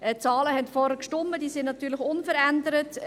Die Zahlen vorhin waren richtig, diese sind natürlich unverändert.